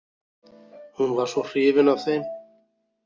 Hún var svo hrifin af þeim.